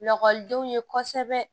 Lakɔlidenw ye kosɛbɛ